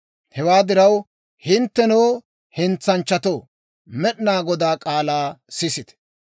« ‹Hewaa diraw, hinttenoo, hentsanchchatoo, Med'inaa Godaa k'aalaa sisite!